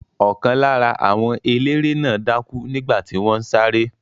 Ọ̀kan lára àwọn eléré náà dákú nígbà tí wọ́n ń sáré.